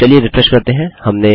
चलिए रिफ्रेश करते हैं